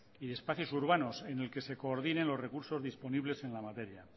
y espacios urbanos en el que se coordine los recursos disponibles en la materia